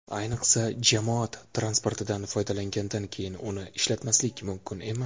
Ayniqsa, jamoat transportidan foydalangandan keyin uni ishlatmaslik mumkin emas.